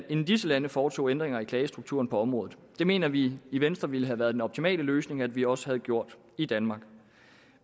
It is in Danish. inden disse lande foretog ændringer i klagestrukturen på området det mener vi i venstre ville have været en optimal løsning at vi også havde gjort i danmark